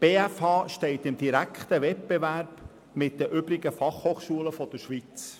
Die BFH steht im direkten Wettbewerb mit den übrigen Schweizer FH.